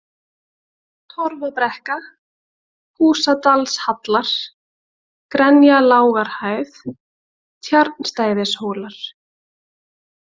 Torfabrekka, Húsadalshallar, Grenjalágarhæð, Tjarnstæðishólar